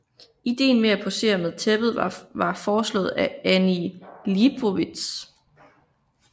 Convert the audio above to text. Ideen med at posere med tæppet var foreslået af Annie Liebovitz